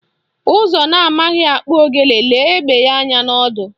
Ụzụ na amaghị akpụ ogene lee egbe anya n'ọdụ